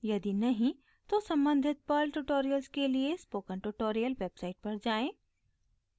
यदि नहीं तो सम्बंधित पर्ल ट्यूटोरियल्स के लिए स्पोकन ट्यूटोरियल वेबसाइट पर जाएँ